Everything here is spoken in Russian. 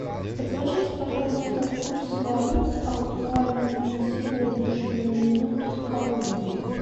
подскажите пожалуйста курс валют актуальный на сегодняшнюю минуту в калуге